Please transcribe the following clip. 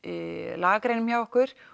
lagagreinum hjá okkur